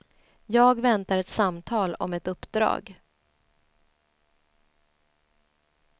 Jag väntar ett samtal om ett uppdrag.